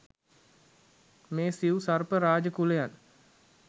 මේ සිව් සර්ප රාජ කුලයන්